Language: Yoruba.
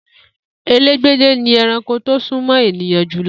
Elégbèdè ni ẹranko tó sún mọ́ ènìyàn jù lọ